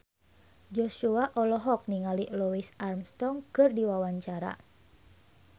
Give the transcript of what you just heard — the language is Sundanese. Joshua olohok ningali Louis Armstrong keur diwawancara